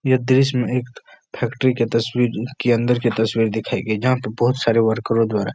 यह देश मे एक फैक्ट्री के तस्वीर के अंदर की तस्वीर दिखाई गयी जहाँ पे बहुत सारे वर्करो द्वारा --